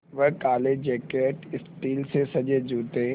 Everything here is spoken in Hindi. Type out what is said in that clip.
वह काले जैकट स्टील से सजे जूते